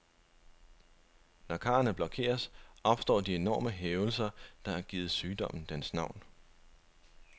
Når karrene blokeres, opstår de enorme hævelser, der har givet sygdommen dens navn.